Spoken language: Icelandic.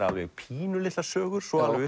alveg pínulitlar sögur svo alveg